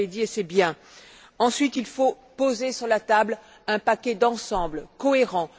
Vous l'avez dit et c'est bien. Ensuite, il faut poser sur la table un paquet d'ensemble cohérent.